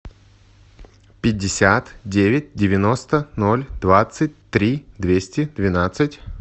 пятьдесят девять девяносто ноль двадцать три двести двенадцать